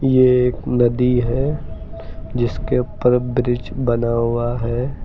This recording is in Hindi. ये एक नदी है जिसके तरफ ब्रिज बना हुआ है।